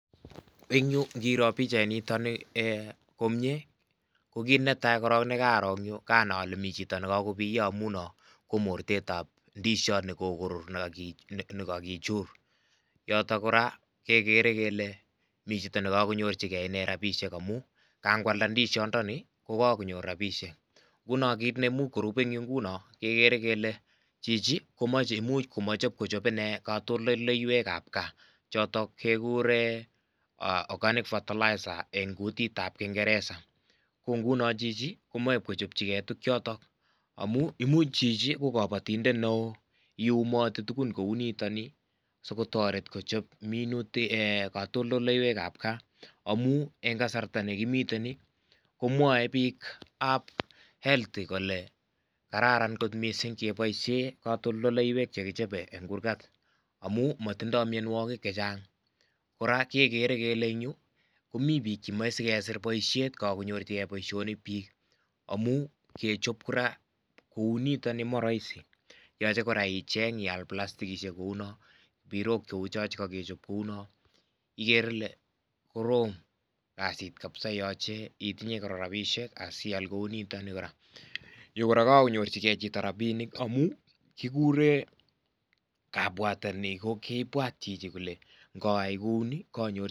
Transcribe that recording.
En yu ingiro pichainiton ee komie kokinetaa korong nekaroo komi chito nekokobiyo amun non komortetab indishot nekokorur nekakichur yotok koraa kekere kele michito nekokonyorjigee rabishek amun kan kwalda indishondoni kokokonyor rabishek, ngunon kit neimuch koruben en yu nguno kekere kele chichi komoche, imuch komoche kochob inee kotondoleiwekqb kaa chotok kekuree organic fertiliser en kutitab kingereza kongunon chichi komoche kochopchigee tukchoto amun imuch chichi kokobotondetneo iyumoti tugun kounito nii sikotoret kochop kotondoleiwekab kaa amun wn kasarta nekimiten nii komwoe bikab health kararan misink ingeboishen kotondoleiwek chekichobe en kurgat amun motindo mionuokik chechang, koraa kekere kele en yu komi bik chemoe sikesir boishet kokokonyorjigee boisionik bik amun kechop koraa kounito nii ko moroisi yoche koraa icheng ial plastikishek kounon mbirok cheuchon chekokechob kounon , ikere ile korom kasit kabisa yoche itinyee koraa rabisiek asial kounito nii koraa , yu koraa kokokonyorjigee chito rabinik amun kikure kabwateni kokibwat chito kole ngayai kouni konyorjigee rabinik.